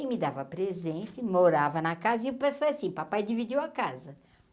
E me dava presente, morava na casa e foi assim, papai dividiu a casa.